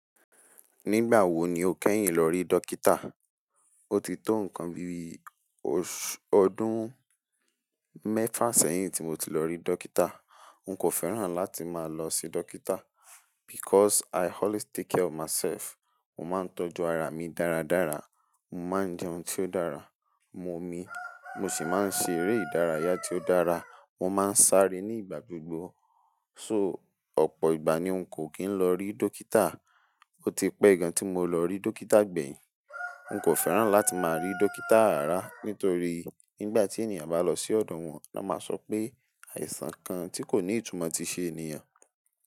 Nígbà wo ni o kẹ́yìn lọ rí dókítà? O ti tó nǹkan bi oṣù ọdún mẹ́fà sẹ́yìn tí mo ti lọ rí dókítà. N kò féràn láti máa lọ sí dókítà because I always take care of myself. Mo máa ń tọ́jú ara mi dáradára, mo máa ń jẹun tí ó dára, mo mi, mo sì máa ń ṣe eré ìdárayá tí ó dára, mo máa ń sáré ní ìgbà gbogbo. So, ọ̀pọ̀ ìgbà ni n kò kì n lọ rí dókítà. O ti pẹ́ gan tí mo lọ rí dókítà gbẹ̀yìn. N kò féràn láti máa rí dókítà ràrá nítorí nígbà tí ènìyàn bá lọ sí ọ̀dọ̀ wọn, lọ máa sọ pé àìsàn kan tí kò ní ìtumọ̀ ti ṣe ènìyàn.